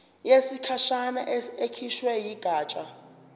yesikhashana ekhishwe yigatsha